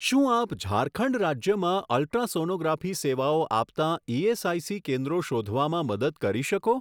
શું આપ ઝારખંડ રાજ્યમાં અલ્ટ્રાસોનોગ્રાફી સેવાઓ આપતાં ઇએસઆઇસી કેન્દ્રો શોધવામાં મદદ કરી શકો?